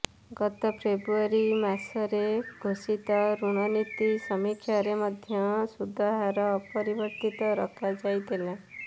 ଗତ ଫେବ୍ରୁଆରୀମାସରେ ଘୋଷିତ ଋଣନୀତି ସମୀକ୍ଷାରେ ମଧ୍ୟ ସୁଧହାର ଅପରିବର୍ତ୍ତିତ ରଖାଯାଇଥିଲା